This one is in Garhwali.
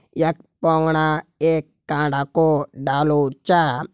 यख पुंगड़ा एक कांडा को डालु छा।